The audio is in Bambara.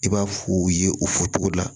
I b'a f'u ye o fɔcogo la